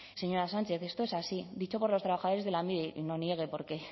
señora sánchez esto es así dicho por los trabajadores de lanbide y no niegue porque